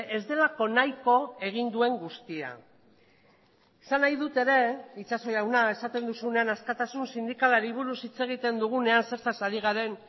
ez delako nahiko egin duen guztia esan nahi dut ere itxaso jauna esaten duzunean askatasun sindikalari buruz hitz egiten dugunean zertaz ari garen